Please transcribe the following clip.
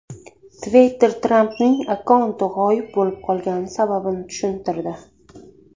Twitter Trampning akkaunti g‘oyib bo‘lib qolgani sababini tushuntirdi.